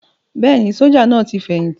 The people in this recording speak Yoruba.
Bẹ́ẹ̀ni, sójà náà ti fẹ̀yìntì